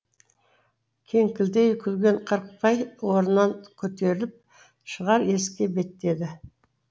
кеңкілдей күлген қырықбай орнынан көтеріліп шығар есікке беттеді